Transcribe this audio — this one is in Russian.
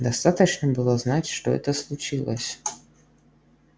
достаточно было знать что это случилось